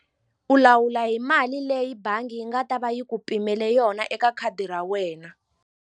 U lawula hi mali leyi bangi yi nga ta va yi ku pimele yona eka khadi ra wena.